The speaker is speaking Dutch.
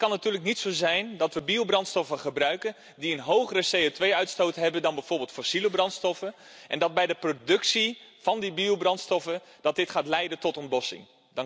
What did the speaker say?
Want het kan natuurlijk niet zo zijn dat we biobrandstoffen gebruiken die een hogere CO2 uitstoot hebben dan bijvoorbeeld fossiele brandstoffen en dat dit bij de productie van die biobrandstoffen gaat leiden tot een botsing.